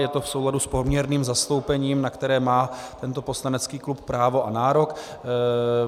Je to v souladu s poměrným zastoupením, na které má tento poslanecký klub právo a nárok.